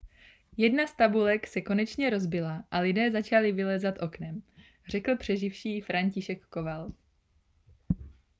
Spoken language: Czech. jedna z tabulek se konečně rozbila a lidé začali vylézat oknem řekl přeživší franciszek kowal